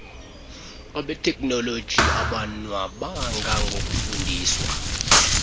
beteknoloji abonwabanga ngokufundiswa